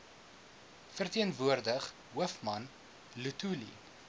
verteenwoordig hoofman luthuli